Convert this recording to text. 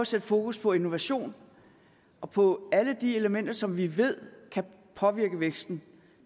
sat fokus på innovation og på alle de elementer som vi ved kan påvirke væksten